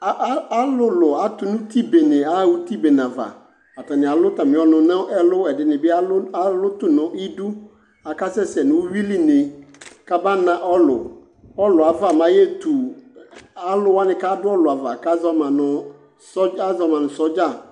A a alʋlʋ atʋ n'uti bene aɣa uti bene ava : atanɩ alʋ atamɩ ɔnʋ n'ɛlʋ ; ɛdɩnɩ bɩ alʋ alʋ tʋ n'idu , akasɛ sɛ n'uyuiline k'aba na ɔlʋ Ɔluaava m'ayeetu alʋwanɩ k'adʋ ɔlʋava k'azɔ ma nʋ sɔdza